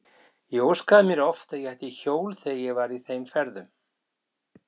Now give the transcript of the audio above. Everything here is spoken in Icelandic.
Ég óskaði mér oft að ég ætti hjól þegar ég var í þeim ferðum.